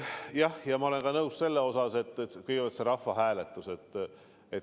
Jah, ma olen nõus ka sellega, et kõigepealt on see rahvahääletus.